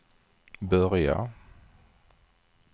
börja